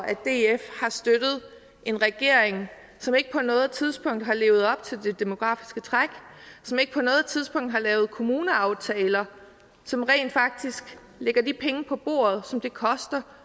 at df har støttet en regering som ikke på noget tidspunkt har levet op til det demografiske træk og som ikke på noget tidspunkt har lavet kommuneaftaler som rent faktisk lægger de penge på bordet som det koster